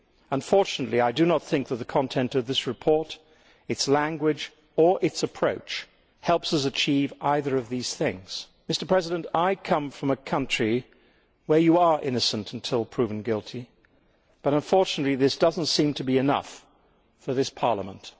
Unfortunately, I do not think that the content of this report, its language or its approach helps us achieve either of these things. Mr President, I come from a country where you are innocent until proven guilty but, unfortunately, this does not seem to be enough for this Parliament.